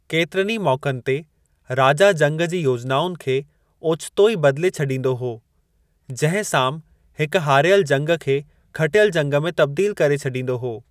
केतिरनि मौकनि ते राजा जंग जी योजनाउनि खे ओचितो ई बदिले छॾींदो हो, जहिं साम हिक हारियल जंग खे खटियल जंग में तब्दील करे छॾींदो हो।